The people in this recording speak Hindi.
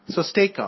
so stay calm